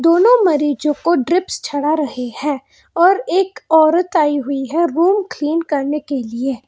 दोनों मरीजों को ड्रिप्स चढ़ा रहे हैं और एक औरत आई है रूम क्लीन करने के लिए।